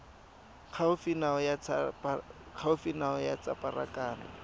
gaufi nao ya tsa pharakano